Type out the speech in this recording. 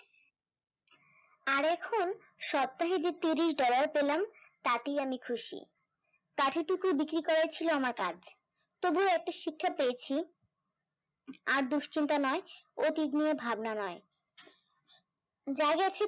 সপ্তাহে যে ত্রিশ dollar পেলাম তাতেই আমি খুশি, কাঠি টুকু বিক্রি করা ছিল আমার কাজ তবুও একটা শিক্ষা পেয়েছি, আর দুশ্চিন্তা নয় অতীত নিয়ে ভাবনা নয় যাই আছি তাই